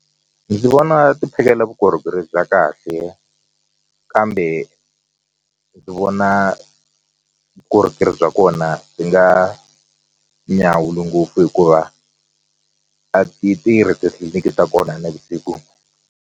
Ndzi vona ti phakela vukorhokeri bya kahle kambe ndzi vona vukorhokeri bya kona byi nga nyawuli ngopfu hikuva a ti tirhi titliliniki ta kona nivusiku.